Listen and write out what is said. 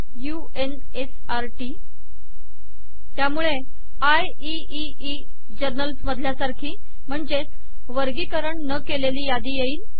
u n s r टीटी त्यामुळे IEEE journals मधल्या सारखी म्हणजे वर्गीकरण न केलेली यादी येईल